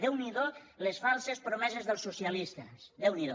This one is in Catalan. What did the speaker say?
déu n’hi do les falses promeses dels socialistes déu n’hi do